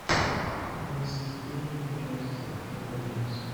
алиса закажи мне пожалуйста килограмм мяса